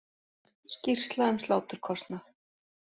Skýrsla um sláturkostnað